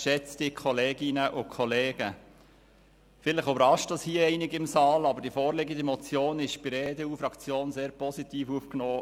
Vielleicht überrascht es hier einige im Saal, aber die vorliegende Motion wurde bei der EDU-Fraktion sehr positiv aufgenommen.